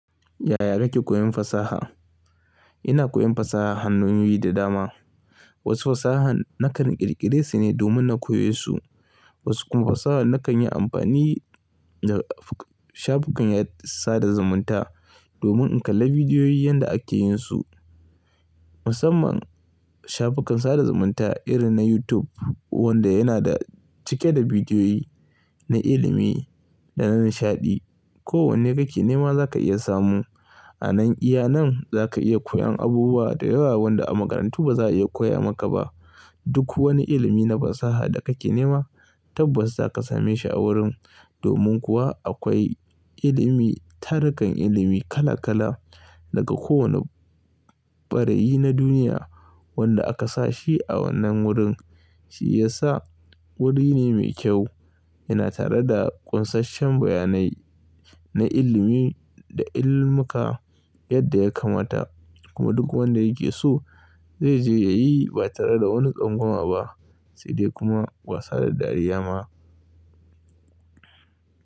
Yaya kake koyon fasaha? Ina koyon fasaha hanyo yi da dama. Wasu fasaha nakan ƙirƙire su ne domin na koya su, wasu kuma fasaha nakan yi amfani da shafukan sada zumunta domin in kalla bidiyoyi yanda ake yin su. Musamman shafukan sada zumunta irin na YouTube wanda yana da cike da bidiyoyi na ilimi da na nishaɗi. Ko wanne kake nema za ka iya samu. Anan iya nan za ka iya koyan abubuwa da yawa wanda a makarantu ba za a iya koya maka ba. Duk wani ilimi na fasaha da kake nema tabbas za ka same shi a wurin. Domin kuwa akwai ilimi, tarukan ilimi kala kala daga kowani ɓarayi na duniya wanda aka sashi a wannan wurin. Shi ya sa wuri ne mai kyau. Yana tare da ƙunsashen bayanai na ilimi da ilimuka yadda ya kamata kuma duk wanda yake so zai je ya yi ba tare da wani tsangwama ba sai dai kuma ba sada dariya ma.